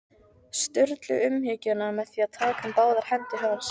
Sturlu umhyggjuna með því að taka um báðar hendur hans.